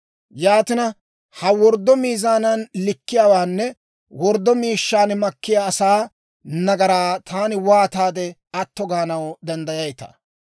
Yaatina, ha worddo miizaanan likkiyaawaanne worddo miishshan makkiyaa asaa nagaraa taani waataade atto gaanaw danddayayitaa?